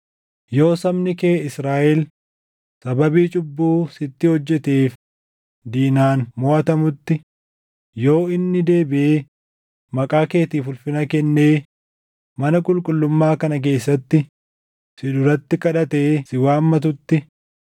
“Yoo sabni kee Israaʼel sababii cubbuu sitti hojjeteef diinaan moʼatamutti, yoo inni deebiʼee maqaa keetiif ulfina kennee mana qulqullummaa kana keessatti si duratti kadhatee si waammatutti,